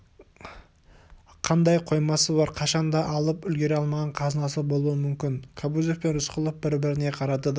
қандай қоймасы бар қашанда алып үлгере алмаған қазынасы болуы мүмкін кобозев пен рысқұлов бір-біріне қарады да